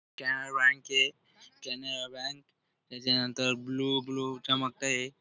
कॅनरा बँकय कॅनरा बँक त्याच्यानंतर blue blue चमकतय.